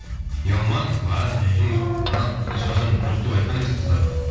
ұялмаңыз барыңыз қанат ешқашан жоқ деп айтқан емес қыздарға